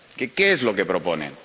¿Qué es lo que proponen?